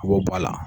U b'o bɔ a la